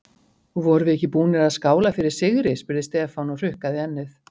Vorum við ekki búnir að skála fyrir sigri? spurði Stefán og hrukkaði ennið.